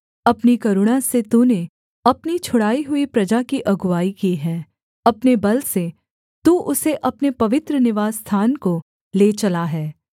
अपनी करुणा से तूने अपनी छुड़ाई हुई प्रजा की अगुआई की है अपने बल से तू उसे अपने पवित्र निवासस्थान को ले चला है